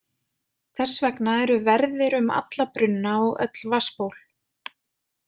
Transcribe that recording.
Þess vegna eru verðir um alla brunna og öll vatnsból.